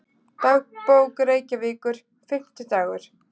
Dagbók Reykjavíkur, Fimmtidagur